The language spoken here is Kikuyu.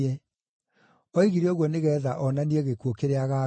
Oigire ũguo nĩgeetha onanie gĩkuũ kĩrĩa agaakua.